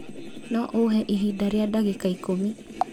no ũhe ihinda rĩa ndagĩka ikũmi